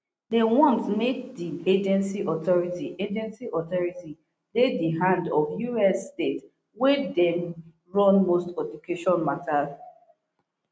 dem want make di agency authority agency authority dey di hand of us states wey dey run most education matters